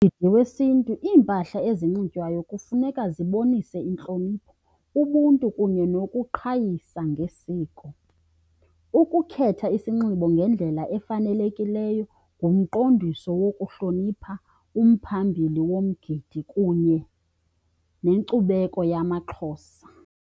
Kumgidi wesiNtu iimpahla ezinxitywayo kufuneka zibonise intlonipho ubuntu kunye yokuqhayisa ngesiko. Ukukhetha isinxibo ngendlela efanelekileyo ngumqondiso wokuhlonipha umphambili womgidi kunye nenkcubeko yamaXhosa.